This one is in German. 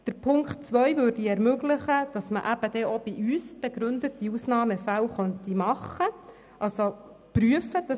Mit der Ziffer 2 würde ermöglicht, dass auch bei uns begründete Ausnahmefälle möglich sind.